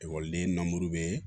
Ekɔliden namuru be